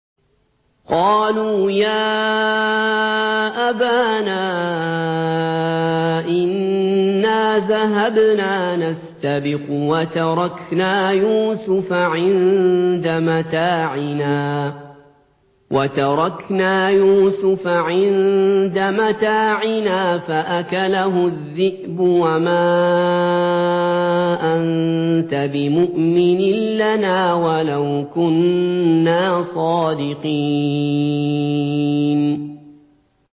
قَالُوا يَا أَبَانَا إِنَّا ذَهَبْنَا نَسْتَبِقُ وَتَرَكْنَا يُوسُفَ عِندَ مَتَاعِنَا فَأَكَلَهُ الذِّئْبُ ۖ وَمَا أَنتَ بِمُؤْمِنٍ لَّنَا وَلَوْ كُنَّا صَادِقِينَ